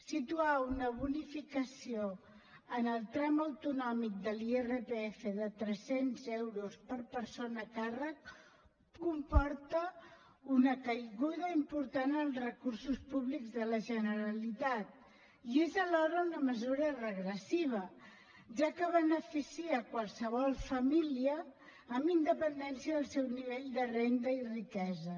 situar una bonificació en el tram autonòmic de l’irpf de tres cents euros per persona a càrrec comporta una caiguda important en els recursos públics de la generalitat i és alhora una mesura regressiva ja que beneficia qualsevol família amb independència del seu nivell de renda i riquesa